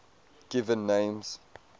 given names